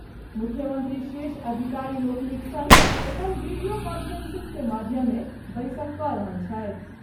मुख्यमंत्री शीर्ष अधिकारी लोकनिक संग एखन वीडियो कांफ्रेंसिंग के माध्यमे बैसक क रहल छथि।